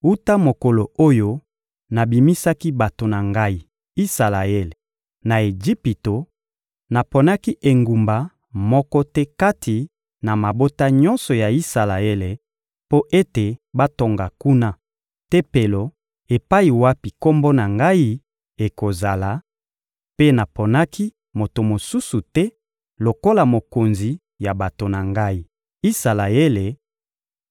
«Wuta mokolo oyo nabimisaki bato na Ngai, Isalaele, na Ejipito, naponaki engumba moko te kati na mabota nyonso ya Isalaele mpo ete batonga kuna Tempelo epai wapi Kombo na Ngai ekozala, mpe naponaki moto mosusu te lokola mokonzi ya bato na Ngai, Isalaele,